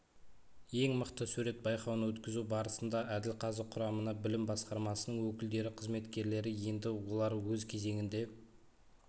ең мықты сурет байқауын өткізу барысында әділқазы құрамына білім басқармасының өкілдері қызметкерлері енді олар өз кезегінде